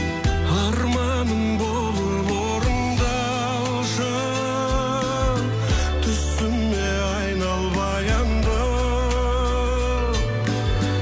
арманым болып орындалшы түсіме айнал баяндым